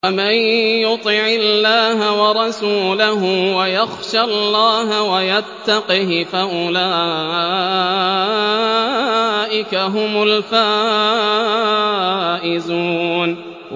وَمَن يُطِعِ اللَّهَ وَرَسُولَهُ وَيَخْشَ اللَّهَ وَيَتَّقْهِ فَأُولَٰئِكَ هُمُ الْفَائِزُونَ